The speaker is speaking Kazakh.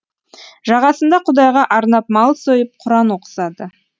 жағасында құдайға арнап мал сойып құран оқысады